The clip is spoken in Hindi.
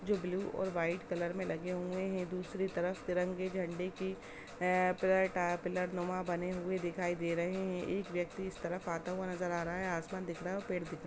जो ब्लू और वाइट कलर में लगे हुए है दुसरे तरफ तिरंगे झंडे के अ पिल्लर टावरनुमा बने हुए दिखाई दे रहे है एक व्यक्ति इस तरफ आता हुआ दिखाई दे रहा है आसमान दिख रहा हैं और पेड़ दिख--